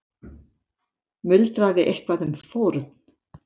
Muldraði eitthvað um fórn.